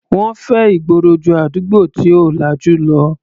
Wọ́n fẹ́ ìgboro ju àdúgbò tí ò lajú lọ.